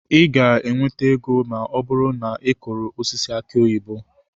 Ị ga-enweta ego ma ọ bụrụ na ị kụrụ osisi aki oyibo.